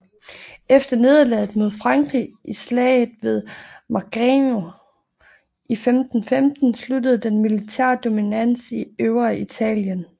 Efter nederlaget mod Frankrig i Slaget ved Marignano i 1515 sluttede den militære dominans i Øvreitalien